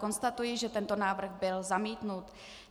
Konstatuji, že tento návrh byl zamítnut.